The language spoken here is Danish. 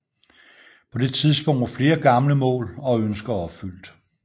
På det tidspunkt var flere gamle mål og ønsker opfyldt